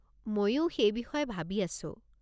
মইও সেই বিষয়ে ভাবি আছো।